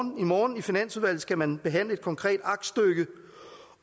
i morgen i finansudvalget skal man behandle et konkret aktstykke